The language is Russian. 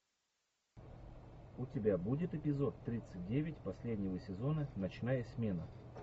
у тебя будет эпизод тридцать девять последнего сезона ночная смена